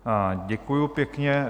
Děkuji pěkně.